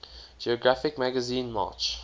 geographic magazine march